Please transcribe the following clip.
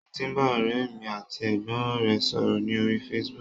Mo ti bá ọ̀rẹ́ mi àti ẹ̀gbọ́n rẹ̀ sọ̀rọ̀ ní orí Facebook